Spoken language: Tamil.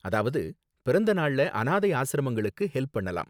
அதாவது, பிறந்த நாள்ல அனாதை ஆஸ்ரமங்களுக்கு ஹெல்ப் பண்ணலாம்.